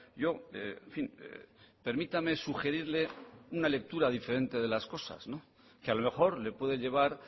yo en fin permítame sugerirle una lectura diferente de las cosas que a lo mejor le puede llevar